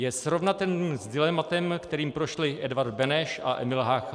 Je srovnatelný s dilematem, kterým prošli Edvard Beneš a Emil Hácha.